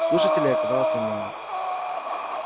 слушателей оказалось немного